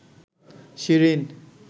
Shirin